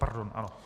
Pardon, ano.